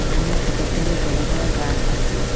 এহানে কতকগুলো বড় বড় গাস আসে।